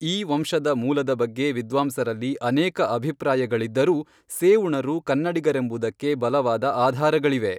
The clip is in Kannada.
ಈ ವಂಶದ ಮೂಲದ ಬಗ್ಗೆ ವಿದ್ವಾಂಸರಲ್ಲಿ ಅನೇಕ ಅಭಿಪ್ರಾಯಗಳಿದ್ದರೂ ಸೇಉಣರು ಕನ್ನಡಿಗರೆಂಬುದಕ್ಕೆ ಬಲವಾದ ಆಧಾರಗಳಿವೆ.